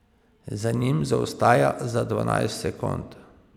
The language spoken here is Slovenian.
Za njim zaostaja za dvanajst sekund.